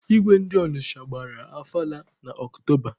Igwe ndi Ọnịcha gbara ọfala na Ọktoba.